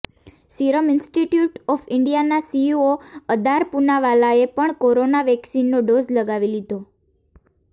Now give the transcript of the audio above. serum institute of ઈન્ડિયાના CEO Adar પૂનાવાલાએ પણ કોરોના વેક્સીનનો ડોઝ લગાવી લીધો